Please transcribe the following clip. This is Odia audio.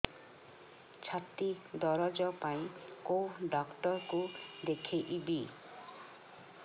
ଛାତି ଦରଜ ପାଇଁ କୋଉ ଡକ୍ଟର କୁ ଦେଖେଇବି